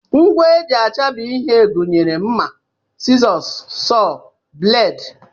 Ngwa e ji achabi ihe gụnyere mma, sizọs, sọọ, bleedi